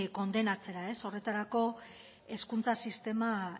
kondenatzera ez horretarako hezkuntza sistema